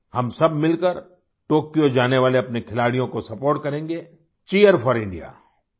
हम सब मिलकर टोक्यो जाने वाले अपने खिलाड़ियों को सपोर्ट करेंगे Cheer4IndiaCheer4IndiaCheer4India